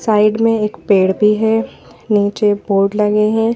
Side में एक पेड़ भी है नीचे बोर्ड लगे हैं।